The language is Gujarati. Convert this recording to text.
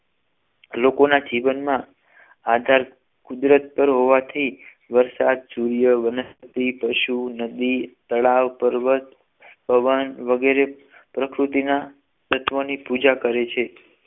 લોકોના જીવનમાં આધાર કુદરત પર હોવાથી વરસાદ સૂર્ય વનસ્પતિ પશુ નદી તળાવ પર્વત હવા વગેરે પ્રકૃતિના તત્વો ની પૂજા કરે છે